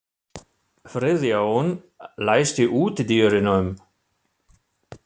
Friðjón, læstu útidyrunum.